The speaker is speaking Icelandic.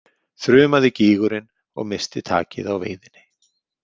þrumaði gýgurin og missti takið á veiðinni.